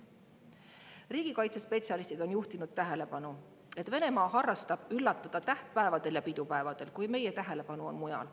Riigikaitsespetsialistid on juhtinud tähelepanu, et Venemaa harrastab üllatamist tähtpäevadel ja pidupäevadel, kui meie tähelepanu on mujal.